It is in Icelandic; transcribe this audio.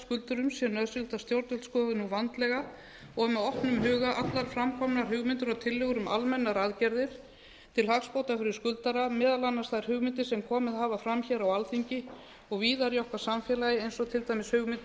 skuldurum sé nauðsynlegt að stjórnvöld skoði nú vandlega og með opnum huga allar framkomnar hugmyndir og tillögur um almennar aðgerðir til hagsbóta fyrir skuldara meðal annars þær hugmyndir sem komið hafa fram hér á alþingi og víðar í okkar samfélagi eins og til dæmis hugmyndir